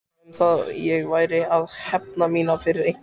Eitthvað um að ég væri að hefna mína fyrir eitthvað.